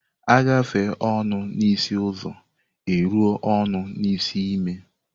A gafee ọnọ n'isi ụzọ e ruo ọnọ n'isi ime.